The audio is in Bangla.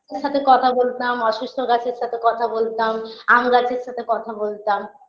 ওদের সাথে কথা বলতাম অসুস্থ গাছের সাথে কথা বলতাম আম গাছের সাথে কথা বলতাম